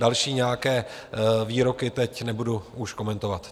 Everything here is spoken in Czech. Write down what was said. Další nějaké výroky teď nebudu už komentovat.